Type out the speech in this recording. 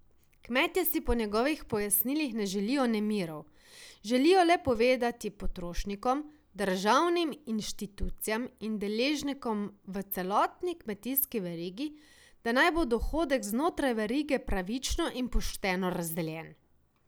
Kmetje si po njegovih pojasnilih ne želijo nemirov, želijo le povedati potrošnikom, državnim inštitucijam in deležnikom v celotni kmetijski verigi, da naj bo dohodek znotraj verige pravično in pošteno razdeljen.